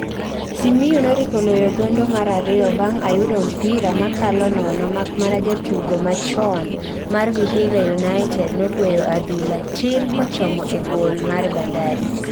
Simiyu noriko loyo gondo mar ariyo bang ayudo mpira makalo nono makmana jatugomachon mar Vihiga united nogweyo adhula tir kochomo e gol mar Bandari